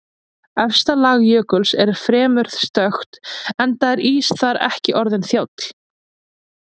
Efsta lag jökuls er fremur stökkt enda er ís þar ekki orðinn þjáll.